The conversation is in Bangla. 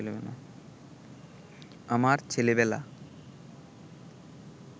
আমার ছেলেবেলা